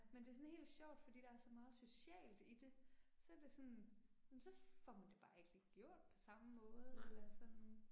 Men det er sådan helt sjovt fordi der er så meget socialt i det. Så det sådan, jamen så får man det bare ikke lige gjort på samme måde eller sådan